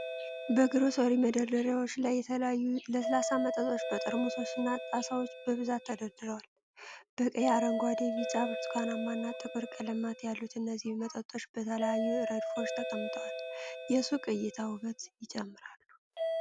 በግሮሰሪ መደርደሪያዎች ላይ የተለያዩ ለስላሳ መጠጦች በጠርሙሶች እና ጣሳዎች በብዛት ተደርድረዋል። በቀይ፣ አረንጓዴ፣ ቢጫ፣ ብርቱካናማ እና ጥቁር ቀለማት ያሉት እነዚህ መጠጦች በተለያዩ ረድፎች ተቀምጠው የሱቁን እይታ ውበት ይጨምራሉ።